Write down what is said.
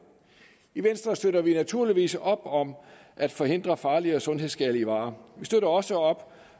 i venstre støtter vi naturligvis op om at forhindre farlige og sundhedsskadelige varer vi støtter også op